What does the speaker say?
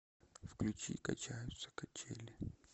включи качаются качели